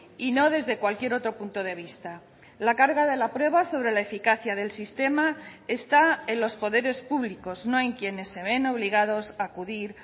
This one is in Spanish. y no desde cualquier otro punto de vista la carga de la prueba sobre la eficacia del sistema está en los poderes públicos no en quienes se ven obligados a acudir